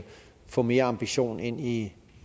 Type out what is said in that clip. få mere ambition ind i